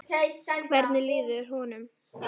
Hvernig líður honum?